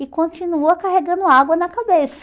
E continua carregando água na cabeça.